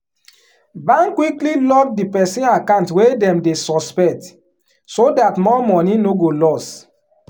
bank quickly lock di person account wey dem dey suspect so dat more money no go loss.